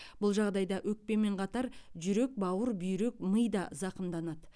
бұл жағдайда өкпемен қатар жүрек бауыр бүйрек ми да зақымданады